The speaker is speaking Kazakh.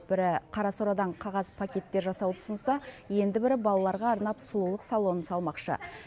бірі қара сорадан қағаз пакеттер жасауды ұсынса енді бірі балаларға арнап сұлулық салонын салмақшы